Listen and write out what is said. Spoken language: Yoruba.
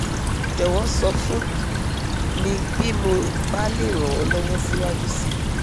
jọ̀wọ́ sọ fún mi bí mo bá lè ran ọ́ lọ́wọ́ síwájú síi